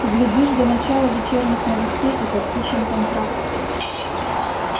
глядишь до начала вечерних новостей и подпишем контракт